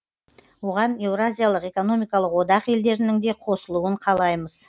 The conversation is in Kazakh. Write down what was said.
оған еуразиялық экономикалық одақ елдерінің де қосылуын қалаймыз